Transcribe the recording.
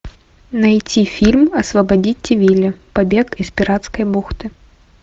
найти фильм освободите вилли побег из пиратской бухты